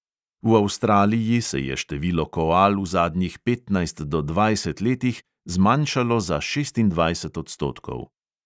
V avstraliji se je število koal v zadnjih petnajst do dvajset letih zmanjšalo za šestindvajset odstotkov.